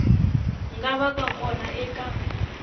nga va ka kona eka